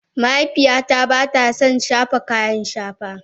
mahaifiyata ba ta son shafa kayan shafa.